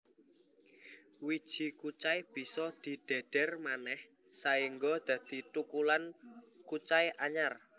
Wiji kucai bisa didhedher manéh saéngga dadi thukulan kucai anyar